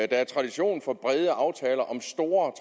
der er tradition for brede aftale om store